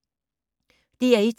DR1